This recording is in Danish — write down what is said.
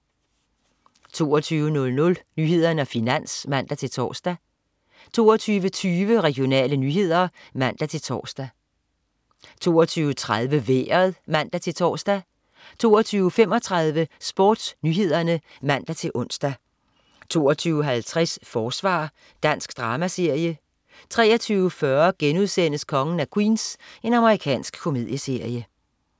22.00 Nyhederne og Finans (man-tors) 22.20 Regionale nyheder (man-tors) 22.30 Vejret (man-tors) 22.35 SportsNyhederne (man-ons) 22.50 Forsvar. Dansk dramaserie 23.40 Kongen af Queens.* Amerikansk komedieserie